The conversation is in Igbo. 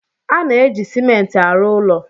A na-eji Simenti arụ ụlọ.